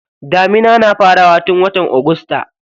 Damuna na farawa tun watan agusta.